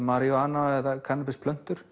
maríjúana eða kannabisplöntur